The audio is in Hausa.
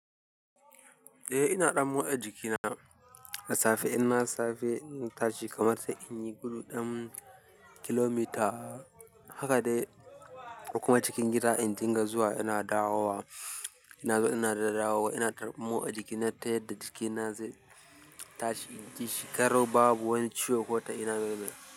Eh ina ɗan motsa jikina da safe in na safe na tashi kamar sai in yi gudu ɗan kilomita haka dai ko kuma cikin gida in dinga zuwa ina dawowa ina zuwa ina da dawowa ina ta motsa jikina ta yadda jikina zai na tashi naji shi garau babu wata ciwo ko ta ina babu.